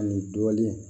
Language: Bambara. Ani dɔɔnin